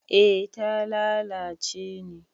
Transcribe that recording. eh ta lalace ne